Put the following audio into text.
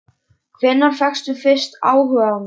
Hvenær fékkstu fyrst áhuga á mér?